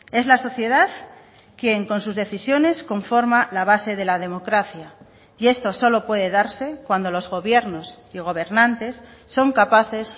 es la sociedad quien con sus decisiones conforma la base de la democracia y esto solo puede darse cuando los gobiernos y gobernantes son capaces